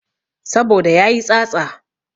Saboda yayi tsatsa